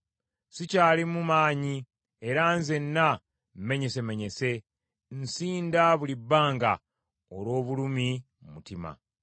Sikyalimu maanyi era nzenna mmenyesemenyese; nsinda buli bbanga olw’obulumi mu mutima.